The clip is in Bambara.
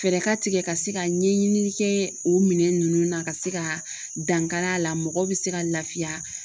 Fɛɛrɛ ka tigɛ ka se ka ɲɛɲini kɛ o minɛn ninnu na ka se ka dankari a la mɔgɔ bɛ se ka lafiya.